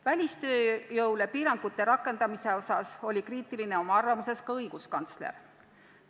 Välistööjõule piirangute rakendamise suhtes oli kriitiline ka õiguskantsler.